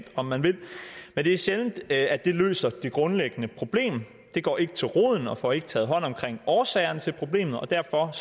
om man vil men det er sjældent at det løser det grundlæggende problem det går ikke til roden og får ikke taget hånd om årsagerne til problemet og derfor er